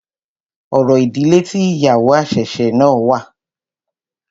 Orò ìdílé tí ìyàwó àṣẹ̀ṣẹ̀ náà wà.